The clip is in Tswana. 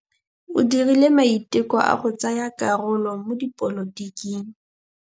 O dirile maitekô a go tsaya karolo mo dipolotiking.